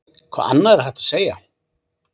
Hvað annað er hægt að segja?